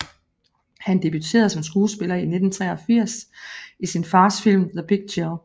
Han debuterede som skuespiller i 1983 i sin fars film The Big Chill